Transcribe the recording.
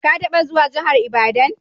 Ka taba zuwan jihar Ibadan?